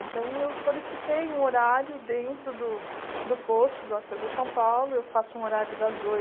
Então, eu solicitei um horário dentro do do posto do Acesa São Paulo, eu faço um horário das